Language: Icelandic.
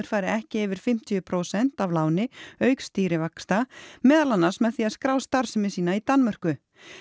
fari ekki yfir fimmtíu prósent af láni auk stýrivaxta meðal annars með því að skrá starfsemi sína í Danmörku